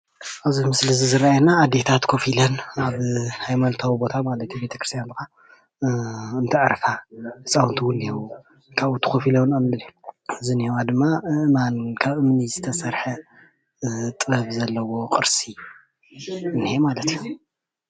ኣብዚ ምስሊ ዝረአየና ኣዴታት ኮፍ ኢለን አብ ሃይማኖቲዋ ቦታ ማለት እዬ አብ ቤተኽርስትያን እንተዕርፋ ህፅውንቲ እውን እኒሀው። ካብኡ ተን ኮፍ ኢለን እምኒ ዝኔህዋ ደማ ካብ እምኒ ዝተሰርሐ ጥበብ ዘለዎ እኒሀ ማለት እዩ